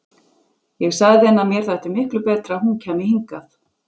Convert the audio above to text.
Ég sagði henni að mér þætti miklu betra að hún kæmi hingað.